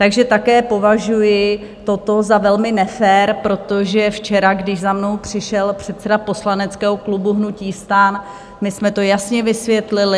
Takže také považuji toto za velmi nefér, protože včera, když za mnou přišel předseda poslaneckého klubu hnutí STAN, my jsme to jasně vysvětlili.